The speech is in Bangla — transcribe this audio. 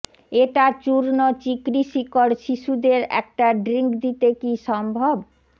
এটা চূর্ণ চিকরি শিকড় শিশুদের একটা ড্রিংক দিতে কি সম্ভব